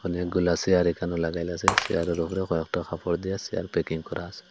অনেকগুলা চেয়ার এখানে লাগাইল আসে চেয়ারের ওপরে কয়েকটা কাপড় দিয়ে চেয়ার প্যাকিং করা আসে।